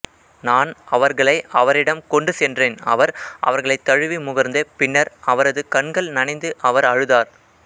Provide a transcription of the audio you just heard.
நான் அவர்களை அவரிடம் கொண்டு சென்றேன் அவர் அவர்களைத் தழுவி முகர்ந்து பின்னர் அவரது கண்கள் நனைந்து அவர் அழுதார்